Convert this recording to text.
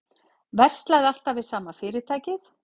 Verslaði alltaf við sama fyrirtækið